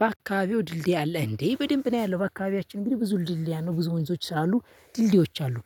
በአካባቢው ድልድይ አለ እንዴ? በደንብ ነው ያለው በአካባቢያችን እንግዲህ ብዙ ድልድይ ነው ብዙ መይዞች ስላሉ ድልድዮች አሉ።